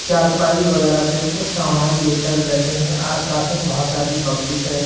चारपाई वगैरह पे कुछ सामान लेकर बैठे हैं आसपास में बहुत सारी पब्लिक है।